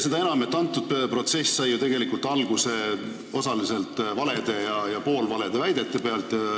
Seda enam, et see protsess sai ju alguse valedest ja poolvaledest väidetest.